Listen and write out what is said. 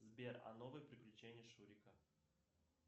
сбер а новые приключения шурика